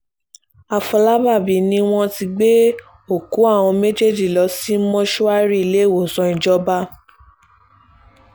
àfọlábàbí ni wọ́n ti gbé òkú àwọn méjèèjì lọ sí mọ́ṣúárì ilẹ̀wòsàn ìjọba